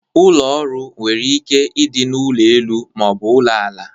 Ụlọ ọrụ nwere ike ịdị n'ụlọ elu ma ọ bụ n'ụlọ ala.